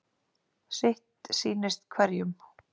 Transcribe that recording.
Sitt sýnist hverjum.